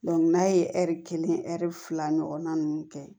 n'a ye ɛri kelen fila ɲɔgɔnna ninnu kɛ